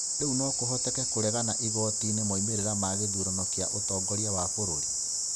Rĩu no kũhoteke kũregana igooti-inĩ moimĩrĩra ma gĩthurano kĩa ũtongoria wa bũrũri?